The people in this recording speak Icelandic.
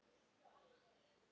En mér fannst það gaman.